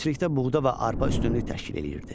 Əkinçilikdə buğda və arpa üstünlük təşkil eləyirdi.